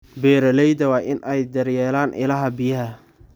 Beeralayda waa inay daryeelaan ilaha biyaha.